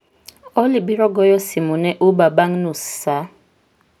Olly biro goyo simu ne uber bang' nus saa